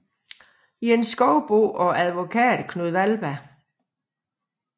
Jens Schovsbo og advokat Knud Wallberg